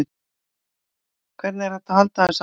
Hvernig er hægt að halda þessu fram?